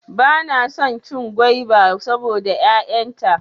Bana son cin gwaiba saboda 'ya'yan ta.